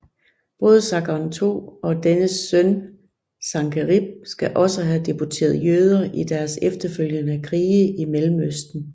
Både Sargon II og dennes søn Sankerib skal også have deporteret jøder i deres efterfølgende krige i Mellemøsten